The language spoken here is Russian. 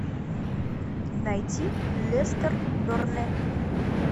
найти лестер бернли